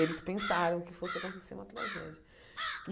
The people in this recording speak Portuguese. Eles pensaram que fosse acontecer uma tragédia.